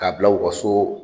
K'a bila u ka so